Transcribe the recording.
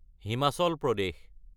Himachal Pradesh